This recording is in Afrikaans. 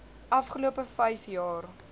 afgelope vyf jaar